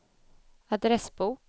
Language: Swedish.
adressbok